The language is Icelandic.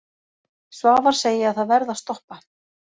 Svavar segi að það verði að stoppa.